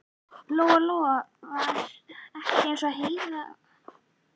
Lóa Lóa var ekki eins og Heiða